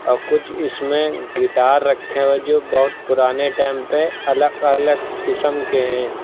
और कुछ इसमें गिटार रखे हुए हैं जो बहुत पुराने टाइम पे अलग अलग किस्म के हैं।